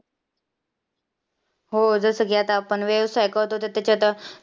हो जसं की आता आपण वेळेस त्याचे आता